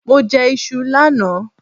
Mo jẹ iṣu lánàá